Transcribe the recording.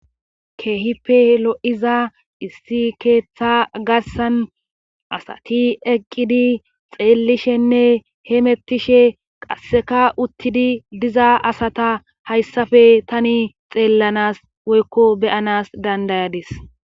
keehippe lo'iza issi keeththa garssan asati eqqidi xeellishenne hemettishe qasseka uttidi diza asata hayssape tani xeellanas woykko beyanas dandayadis.